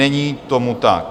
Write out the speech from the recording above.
Není tomu tak.